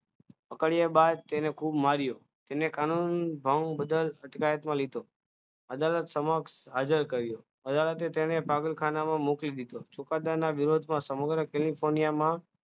પકડ્યા બાદ તેને ખૂબ માર્યો તેને કાનૂન ભંગ બદલ અટકાયતમાં લીધો અદાલત સમક્ષ હાજર કર્યો અદાલતે તેને પાગલખાનામાં મોકલી દીધો ચુકાદોના વિરોધમાં સમગ્ર કેલિફોનિયામાં